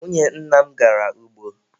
Nwunye nna m gara ugbo.